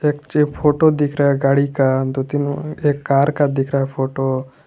मुझे एक फोटो दिख रहा है गाड़ी का दो तीन एक कार का दिख रहा है फोटो ।